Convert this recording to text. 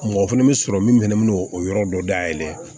Mɔgɔ fana bɛ sɔrɔ min fɛnɛ bɛ n'o o yɔrɔ dɔ dayɛlɛ